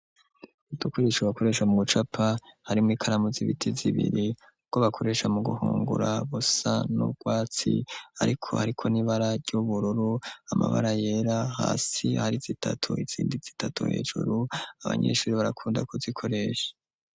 Udukoresha bakoresha mu gucapa harimwo ikaramu z'ibiti zibiri utwo bakoresha mu guhungura busa n'urwatsi ariko hariko n'ibara ry'ubururu amabara yera hasi hari zitatu izindi zitatu hejuru abanyeshuri barakunda ku zikoresha